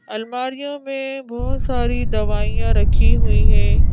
अलमारियों में बहुत सारी दवाइयां रखी हुई हैं।